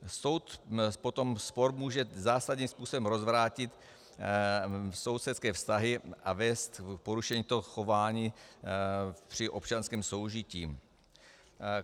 Spor potom může zásadním způsobem rozvrátit sousedské vztahy a vést k porušení toho chování při občanském soužití.